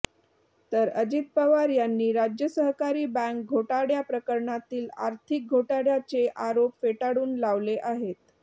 तर अजित पवार यांनी राज्य सहकारी बँक घोटाळ्या प्रकरणातील आर्थिक घोटाळ्याचे आरोप फेटाळून लावले आहेत